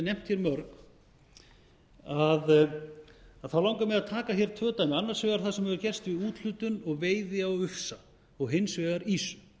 hér mörg að þá langar mig að taka hér tvö dæmi annars vegar það sem hefur gerst í úthlutun og veiði á ufsa og hins vegar ýsu